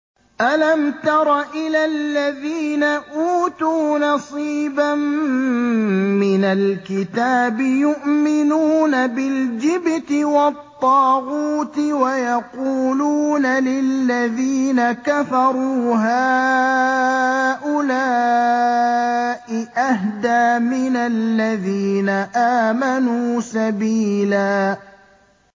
أَلَمْ تَرَ إِلَى الَّذِينَ أُوتُوا نَصِيبًا مِّنَ الْكِتَابِ يُؤْمِنُونَ بِالْجِبْتِ وَالطَّاغُوتِ وَيَقُولُونَ لِلَّذِينَ كَفَرُوا هَٰؤُلَاءِ أَهْدَىٰ مِنَ الَّذِينَ آمَنُوا سَبِيلًا